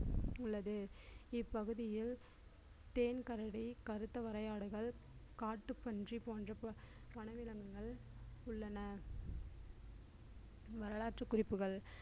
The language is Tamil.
உள்ளது இப்பகுதியில் தேன் கரடி கருத்த வரையாடுகள் காட்டுப்பன்றி போன்ற ப~ வன விலங்குகள் உள்ளன வரலாற்று குறிப்புகள்